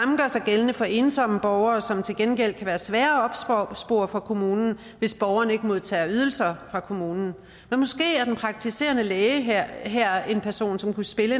gældende for ensomme borgere som til gengæld kan være svære at opspore for kommunen hvis borgeren ikke modtager ydelser fra kommunen men måske er den praktiserende læge her her en person som kunne spille